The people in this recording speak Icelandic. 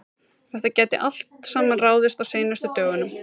Þetta gæti allt saman ráðist á seinustu dögunum.